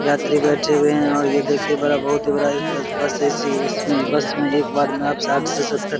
यात्री बैठे हुए हैं और ये देखिये बड़ा बहुत ही बड़ा इस बस बस ए.सी. इसमें बस में एक बार में आप साठ से सत्तर --